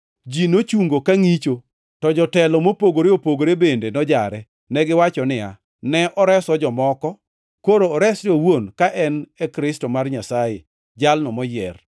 Ji nochungo ka ngʼicho, to jotelo mopogore opogore bende nojare. Negiwacho niya, “Ne oreso jomoko, koro oresre owuon ka en e Kristo mar Nyasaye, Jalno Moyier.”